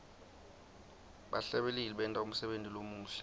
bahlabeleli benta umsebenti lomuhle